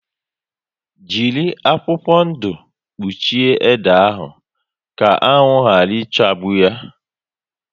Jírí akwụkwọ ndụ kpuchie ede ahụ ka anwụ yara ichagbu yá